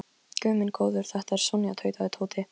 Guð minn góður, þetta er Sonja tautaði Tóti.